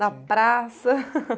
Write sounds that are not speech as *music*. Na praça? *laughs*